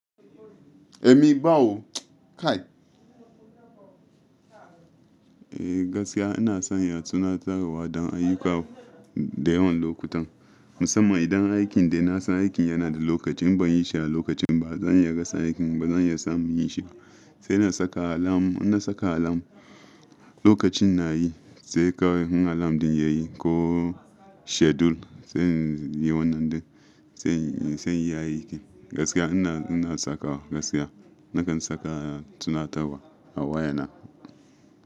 Eh, me bawo? Kai. Eh gaskiya ina son ya tuna tarewa don ayyuka da yawan lokutan. Musamman idan aikin da ina son aikin yana da lokaci in ban yi shi a lokacin ba, ba zan iya rasa aikin ba, zan iya samun yin shi. Sai na saka alam, inna saka alam lokacin na yi sai kawai in alam ɗin yayi ko schedule sai yi wannan ɗin sai, sai yayi aiki. Gaskiya ina, ina saka gaskiya nakan saka tunatarwa a wayana.